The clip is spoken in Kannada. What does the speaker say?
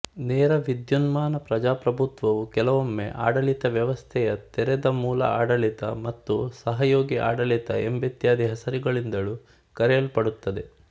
ನೇರ ವಿದ್ಯುನ್ಮಾನ ಪ್ರಜಾಪ್ರಭುತ್ವವು ಕೆಲವೊಮ್ಮೆ ಆಡಳಿತ ವ್ಯವಸ್ಥೆಯ ತೆರೆದ ಮೂಲ ಆಡಳಿತ ಮತ್ತು ಸಹಯೋಗೀ ಆಡಳಿತ ಎಂಬಿತ್ಯಾದಿ ಹೆಸರುಗಳಿಂದಲೂ ಕರೆಯಲ್ಪಡುತ್ತದೆ